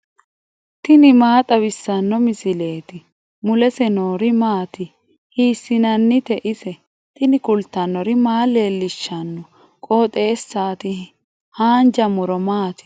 tini maa xawissanno misileeti ? mulese noori maati ? hiissinannite ise ? tini kultannori maa leelishanno qooxeessaati haanja muro maati